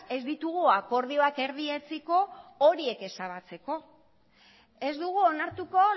ez ditugu akordioak erdietsiko horiek ezabatzeko ez dugu onartuko